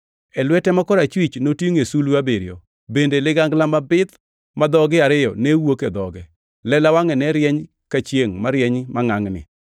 E lwete ma korachwich notingʼo sulwe abiriyo, bende ligangla mabith ma dhoge ariyo ne wuok e dhoge. Lela wangʼe ne rieny ka chiengʼ marieny mangʼangʼni.